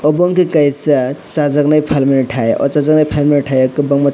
omo ke kaisa chajaknai falmaiat hai aw chajakmai falmani tai o kwbangma.